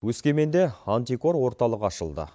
өскеменде антикор орталығы ашылды